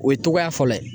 O ye cogoya fɔlɔ ye